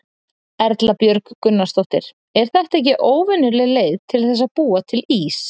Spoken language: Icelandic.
Erla Björg Gunnarsdóttir: Er þetta ekki óvenjuleg leið til þess að búa til ís?